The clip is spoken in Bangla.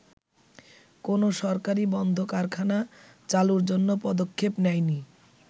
“কোন সরকারই বন্ধ কারখানা চালুর জন্য পদক্ষেপ নেয়নি।